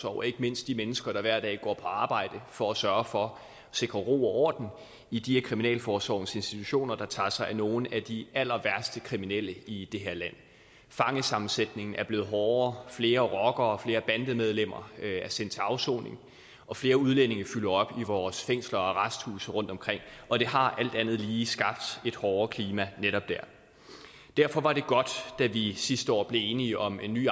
og ikke mindst de mennesker der hver dag går på arbejde for at sørge for at sikre ro og orden i de af kriminalforsorgens institutioner der tager sig af nogle af de allerværste kriminelle i det her land fangesammensætningen er blevet hårdere flere rockere og flere bandemedlemmer er sendt til afsoning og flere udlændinge fylder op i vores fængsler og arresthuse rundtomkring og det har alt andet lige skabt et hårdere klima netop der derfor var det godt da vi sidste år blev enige om en ny